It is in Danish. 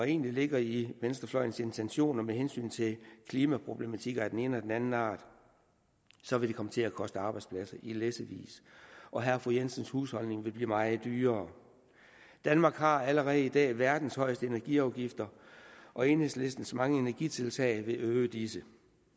egentlig ligger i venstrefløjens intentioner med hensyn til klimaproblematikker af den ene eller den anden art så vil det komme til at koste arbejdspladser i læssevis og herre og fru jensens husholdning vil blive meget dyrere danmark har allerede i dag verdens højeste energiafgifter og enhedslistens mange energitiltag vil øge disse